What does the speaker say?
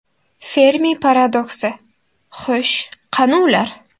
Fermi paradoksi – xo‘sh, qani ular?